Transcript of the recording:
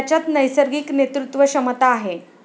त्याच्यात नैसर्गिक नेतृत्वक्षमता आहे.